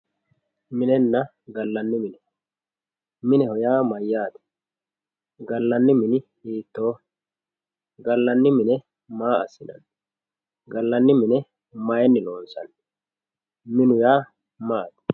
Minenna gallanni mine, mineho yaa mayyate, gallani mini hiittoho, gallani mine maa assinanni, gallani mine mayinni loonsanni ,minu yaa maati ?